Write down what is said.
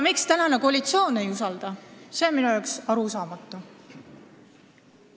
Miks praegune koalitsioon ei usalda, see on minu jaoks arusaamatu.